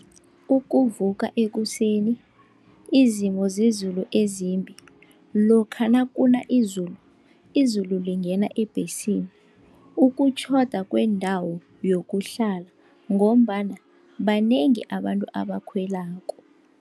Ukuvuka ekuseni, izimo zezulu ezimbi lokha nakuna izulu, izulu lingena ebhesini, ukutjhoda kwendawo yokuhlala ngombana banengi abantu abakhwelako.